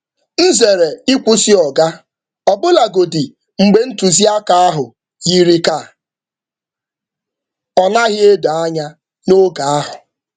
M zere ịkwụsị oga, ọbụlagodi mgbe ntụzịaka ọbụlagodi mgbe ntụzịaka ahụ yiri ka ọ naghị edo anya n’oge ahụ.